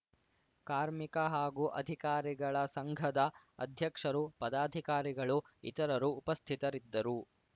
ಕಾರ್ಮಿಕ ಹಾಗೂ ಅಧಿಕಾರಿಗಳ ಸಂಘದ ಅಧ್ಯಕ್ಷರು ಪದಾಧಿಕಾರಿಗಳು ಇತರರು ಉಪಸ್ಥಿತರಿದ್ದರು